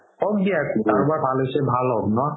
হওক দিয়া কাৰোবাৰ ভাল হৈছে ভাল হওক ন